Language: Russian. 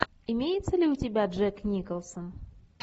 имеется ли у тебя джек николсон